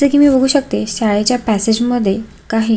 जस की मी बघू शकते शाळेच्या पॅसेज मध्ये काही--